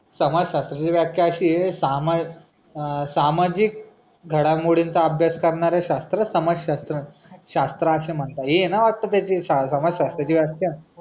समाजशास्त्राची व्याख्या अशीये समासामाजिक घडामोडींचा अभ्यास करणारा शस्त्र समाजशस्त्र. शस्त्र आशे म्हणतात हे ना असे वाटतं समाजशास्त्राची व्याख्या.